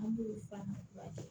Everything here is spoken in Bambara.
An b'o f'a ma